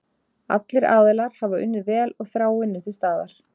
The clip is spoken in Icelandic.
Allir aðilar hafa unnið vel og þráin er til staðar.